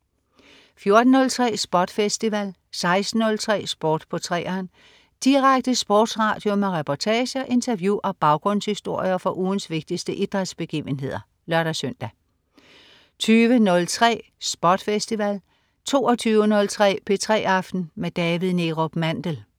14.03 SPOT Festival 16.03 Sport på 3'eren. Direkte sportsradio med reportager, interview og baggrundshistorier fra ugens vigtigste idrætsbegivenheder (lør-søn) 20.03 SPOT Festival 22.03 P3 aften med David Neerup Mandel